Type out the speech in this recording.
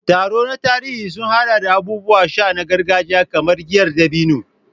Taro na tarihi sun haɗa da abubuwan sha na gargajiya kamar giyar dabino.